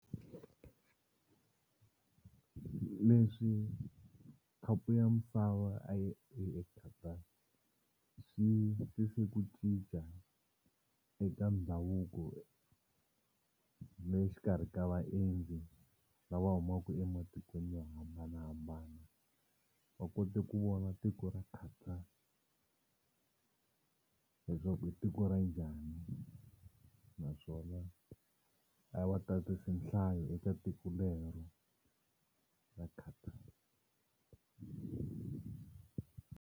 Leswi khapu ya misava a yi ri eQatar swi tise ku cinca eka ndhavuko le xikarhi ka vaendzi lava humaku ematikweni yo hambanahambana va kote ku vona tiko ra Qatar leswaku i tiko ra njhani naswona a va tatisi nhlayo eka tiko lero ra Qatar.